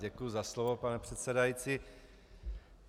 Děkuji za slovo, pane předsedající.